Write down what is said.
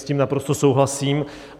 S tím naprosto souhlasím.